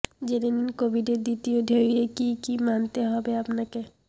জেনে নিন কোভিডের দ্বিতীয় ঢেউয়ে কী কী মানতে হবে আপনাকে